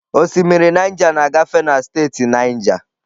Osimiri Naija na-agafe na steeti Naija.